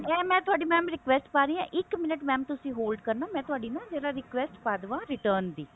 ਇਹ mam ਤੁਹਾਡੀ mam ਮੈਂ request ਪਾ ਰਹੀ ਹਾਂ ਇਕ minute mam ਤੁਸੀਂ hold ਕਰਨਾ ਮੈਂ ਤੁਹਾਡੀ ਨਾ ਜਰਾ request ਪਾ ਦਵਾਂ return ਦੀ